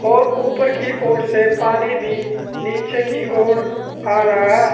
और ऊपर की ओर से पानी भी नीचे की ओर आ रहा है।